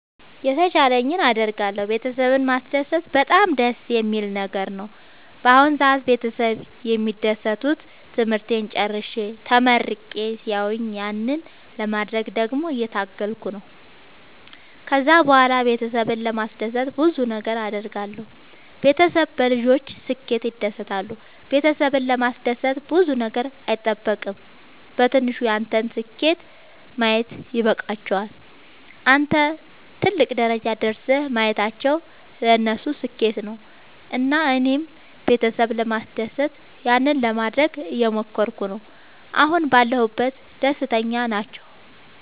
የተቻለኝን አደርጋለሁ ቤተሰብን ማስደሰት በጣም ደስ የሚል ነገር ነው። በአሁን ሰአት ቤተሰብ የሚደሰቱት ትምህርቴን ጨርሼ ተመርቄ ሲያዩኝ ያንን ለማድረግ ደግሞ እየታገልኩ ነው። ከዛ ብኋላም ቤተሰብን ለማስደሰት ብዙ ነገር አድርጋለሁ። ቤተሰብ በልጆች ስኬት ይደሰታሉ ቤተሰብን ለማስደሰት ብዙ ነገር አይጠበቅም በትንሹ ያንተን ስኬት ማየት ይበቃቸዋል። አንተን ትልቅ ደረጃ ደርሰህ ማየታቸው ለነሱ ስኬት ነው። እና እኔም ቤተሰብ ለማስደሰት ያንን ለማደረግ እየሞከርኩ ነው አሁን ባለሁበት ደስተኛ ናቸው።